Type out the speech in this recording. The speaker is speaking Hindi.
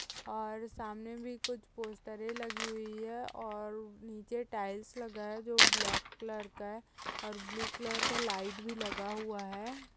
और सामने भी कुछ पोस्टरें लगी हुई हैऔर नीचे टाइल्स लगा है। जो ब्लैक कलर का है। और ब्लू कलर का लाइट भी लगा हुआ है।